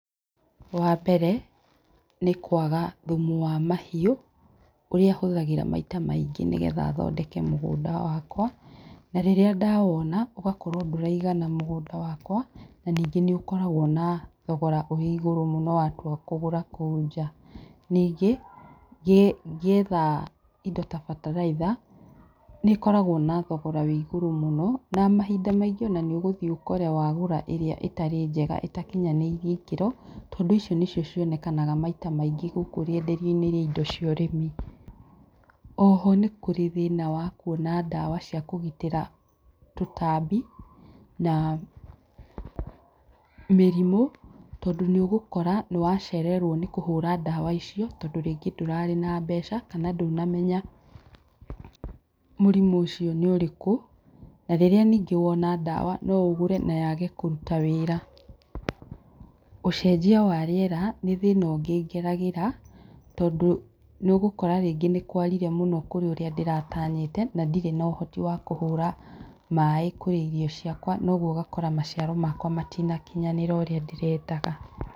Wa mbere nĩ kwaga thumu wa mahiũ ũrĩa hũthagĩra maita maingĩ nĩgetha thondeke mũgũnda wakwa, rĩrĩa ndawona ũgakorwo ndũraigana mũgũnda wakwa na ningĩ nĩ ũkoragwo na thogora ũrĩ igũrũ mũno watua kũgũra kũu nja ningĩ ngĩetha indo ta bataraitha nĩkoragwo na thogora wĩ igũrũ mũno na mahinda maingĩ nĩ ũgũthiĩ ũkore wagũra ĩrĩa ĩtarĩ njega ĩtakinyanĩirie ikĩro tondũ icio nĩcio cionekaga maita maingĩ gũkũ rĩenderio-inĩ rĩa indo cia ũrĩmi, oho nĩ kũrĩ thĩna wa kwona dawa cia kũgitĩra tũtambi na mĩrimũ tondũ nĩ ũgũkora nĩ wacererwo nĩ kũhũra dawa icio, tondũ rĩngĩ ndũrarĩ na mbeca kana ndũnamenya mũrimũ ũcio nĩ ũrĩkũ na rĩrĩa rĩngĩ wona dawa no ũgũre nayage kũruta wĩra, ũcenjia wa rĩera nĩ thĩna ũngĩ ngeragia tondũ nĩ ũgũkũra rĩngĩ nĩ kwarire mũno kũrĩ ũrĩa ndĩratanyĩte na ndirĩ na ũhoti wa kũhũra maĩ kwĩ irio ciakwa noguo ũgakora maciaro makwa matinakinyanĩra ũrĩa ndĩrendaga.